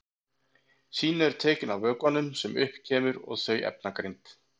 Sýni eru tekin af vökvanum sem upp kemur og þau efnagreind.